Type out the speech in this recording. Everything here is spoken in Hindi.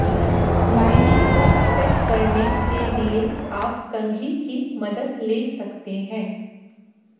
लाइनिंग को सेट करने के लिए आप कंघी की मदद ले सकते हैं